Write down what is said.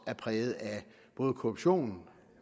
er præget både af korruption